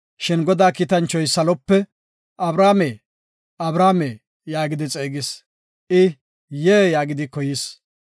Shin Godaa Kiitanchoy salope, “Abrahaame, Abrahaame” yaagidi xeegis. I, “Yee” yaagidi koyis.